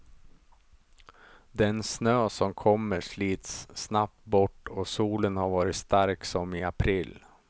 Den snö som kommer slits snabbt bort och solen har varit stark som i april.